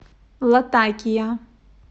латакия